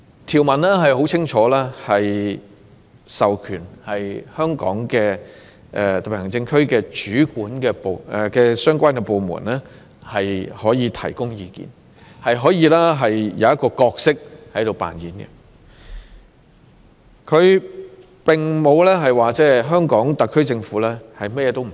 "條文清楚指出，香港特區的相關部門可以提供意見，可以扮演一個角色，香港特區政府並非甚麼也不可以做。